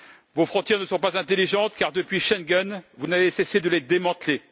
Vos frontières ne sont pas intelligentes, car depuis Schengen, vous n'avez cessé de les démanteler.